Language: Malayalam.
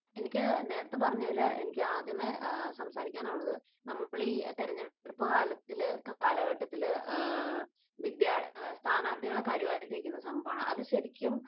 എനിക്ക് നേരത്തെ പറഞ്ഞതിൽ എനിക്ക് ആദ്യമേ സംസാരിക്കാനുള്ളത് നമ്മൾ ഈ തെരഞ്ഞെടുപ്പ് കാലത്തിൽ, കാലഘട്ടത്തിൽ, വിദ്യാർ, സ്ഥാനാർഥികളെ കരിവാരിത്തേക്കുന്ന സംഭവമാണ്. അത് ശരിക്കും